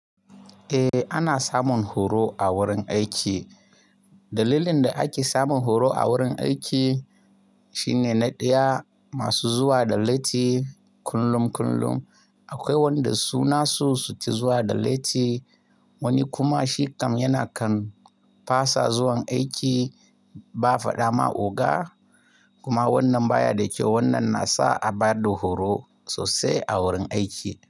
Eh ana samun horo a wurin aiki. Dalilin da ake samun horo a wurin aiki Nine na ɗaya masu zuwa da laiti kullum kullum. Akwai wanda su na su suke zuwa da laiti wani kuma shi kam yana kam fasa zuwan aiki ba faɗa ma oga kuma wannan baya da kyau wannan nasa a baɗa horo sosai a wurin aiki.